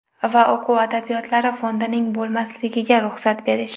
va o‘quv adabiyotlari fondining bo‘lmasligiga ruxsat berish.